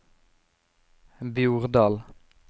Bjordal